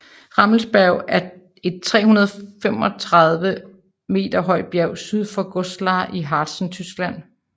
Rammelsberg er et 635 m højt bjerg syd for Goslar i Harzen Tyskland